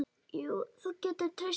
Jú, þú getur treyst því.